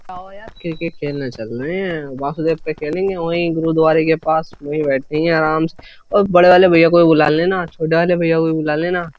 Cricket खेलना चल रहे हैं वासुदेव पर खेलेंगे वहीं गुरुद्वारे के पास वहीं बैठेंगे आराम से और बड़े वाले भैया को बुला लेना छोटे वाले भैया को भी बुला लेना।